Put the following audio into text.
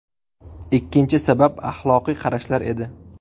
Ikkinchi sabab axloqiy qarashlar edi.